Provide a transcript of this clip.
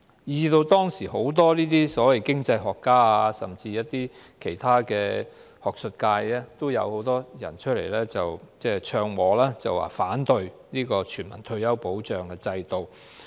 因此，當時有很多所謂經濟學家，甚至是學術界人士也紛紛唱和，反對全民退休保障制度。